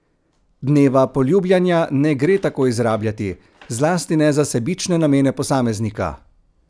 Dneva poljubljanja ne gre tako izrabljati, zlasti ne za sebične namene posameznika!